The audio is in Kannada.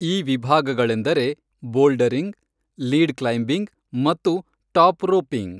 ಈ ವಿಭಾಗಗಳೆಂದರೆ ಬೋಲ್ಡರಿಂಗ್, ಲೀಡ್ ಕ್ಲೈಂಬಿಂಗ್ ಮತ್ತು ಟಾಪ್ ರೋಪಿಂಗ್.